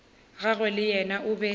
gagwe le yena o be